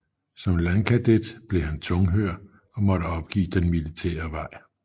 Som landkadet blev han tunghør og måtte opgive den militære vej